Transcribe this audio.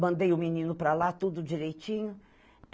Mandei o menino para lá, tudo direitinho.